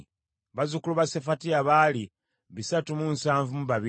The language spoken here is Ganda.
bazzukulu ba Sefatiya baali bisatu mu nsavu mu babiri (372),